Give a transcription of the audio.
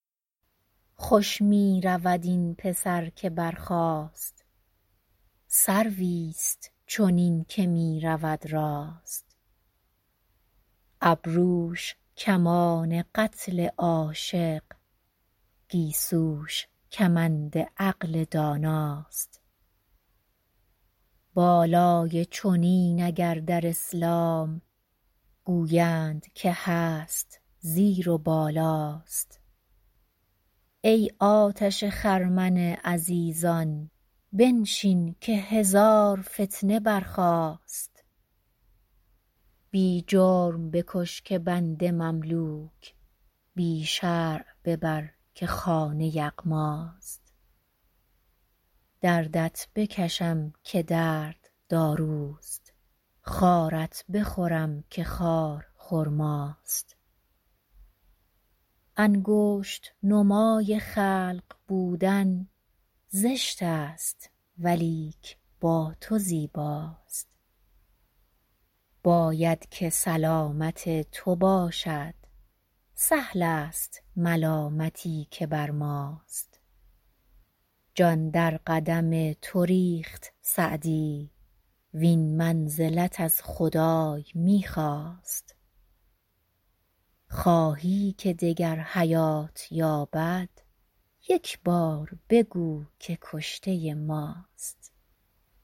خوش می رود این پسر که برخاست سرویست چنین که می رود راست ابروش کمان قتل عاشق گیسوش کمند عقل داناست بالای چنین اگر در اسلام گویند که هست زیر و بالاست ای آتش خرمن عزیزان بنشین که هزار فتنه برخاست بی جرم بکش که بنده مملوک بی شرع ببر که خانه یغماست دردت بکشم که درد داروست خارت بخورم که خار خرماست انگشت نمای خلق بودن زشت است ولیک با تو زیباست باید که سلامت تو باشد سهل است ملامتی که بر ماست جان در قدم تو ریخت سعدی وین منزلت از خدای می خواست خواهی که دگر حیات یابد یک بار بگو که کشته ماست